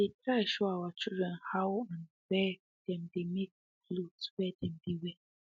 we dey try show our children how and where them dey make the clothes whey dem dey wear